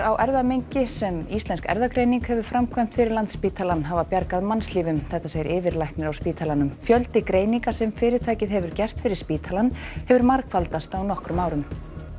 á erfðamengi sem Íslensk erfðagreining hefur framkvæmt fyrir Landspítalann hafa bjargað mannslífum segir yfirlæknir á spítalanum fjöldi greininga sem fyrirtækið hefur gert fyrir spítalann hefur margfaldast á nokkrum árum